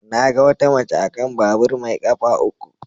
Na ga wata mace a kan babur mai kafa uku.